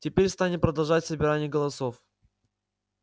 теперь станем продолжать собирание голосов